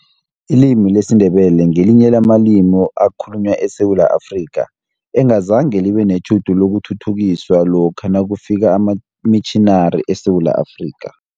Ilimi lesiNdebele ngelinye lamalimi ekhalunywa eSewula Afrika, engazange libe netjhudu lokuthuthukiswa lokha nakufika amamitjhinari eSewula Afrika.